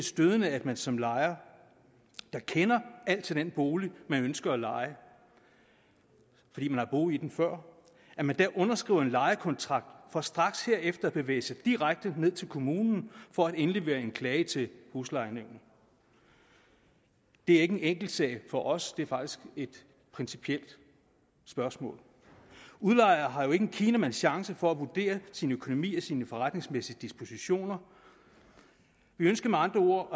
stødende at man som lejer der kender alt til den bolig man ønsker at leje fordi man har boet i den før underskriver en lejekontrakt for straks herefter at bevæge sig direkte ned til kommunen for at indlevere en klage til huslejenævnet det er ikke en enkeltsag for os det er faktisk et principielt spørgsmål udlejer har jo ikke en kinamands chance for at vurdere sin økonomi og sine forretningsmæssige dispositioner vi ønsker med andre ord